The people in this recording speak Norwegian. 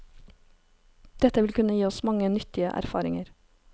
Dette vil kunne gi oss mange nyttige erfaringer.